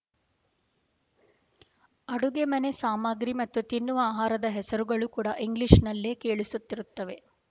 ಅಡುಗೆಮನೆ ಸಾಮಗ್ರಿ ಮತ್ತು ತಿನ್ನುವ ಆಹಾರದ ಹೆಸರುಗಳು ಕೂಡಾ ಇಂಗ್ಲೀಷ್ ನಲ್ಲೇ ಕೇಳಿಸುತ್ತಿರುತ್ತವೆ